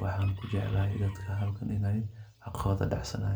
waxan kujeclahay dadka halkan inay xaqotha dacsanyan.